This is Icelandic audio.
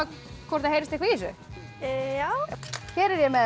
hvort heyrist eitthvað í þessu já hér er ég með